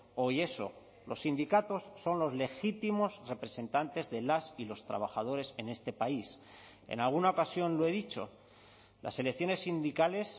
hoy eso los sindicatos son los legítimos representantes de las y los trabajadores en este país en alguna ocasión lo he dicho las elecciones sindicales